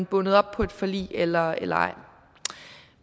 bundet op på et forlig eller eller ej